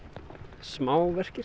smá verkir